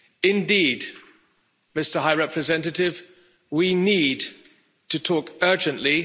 Indeed, Mr High Representative, we need to talk urgently.